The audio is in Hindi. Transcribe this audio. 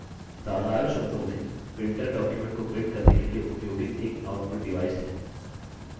साधारण शब्दों में printer document को print करने के लिए उपयोगित एक output डिवाइस है